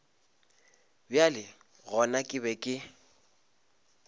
bjale gona ke be ke